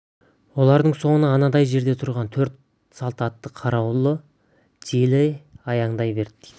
олардың соңынан анандай жерде тұрған төрт салт атты қарауылы желе аяңдай ерді